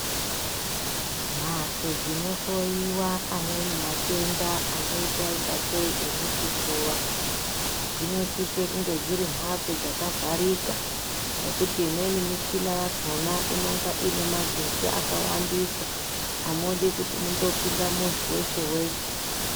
Mhatso dzinohloyiwa amweni matenda anoita ingatei emuchifuva dzinosisa kunge dziri mhatso dzaka vharika nekuti imweni mushina yakona inonga ine magetsi akawandisa amudikuti mungopinda muntu weshe weshe.